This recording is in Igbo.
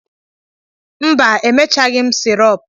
Mba, emechaghị m sirup.